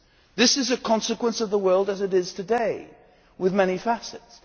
This is a consequence of the world as it is today, with many facets.